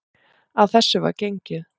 Að þessu var gengið.